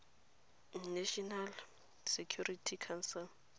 national security council